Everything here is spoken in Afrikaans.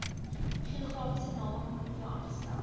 geografiese namekomitee aangestel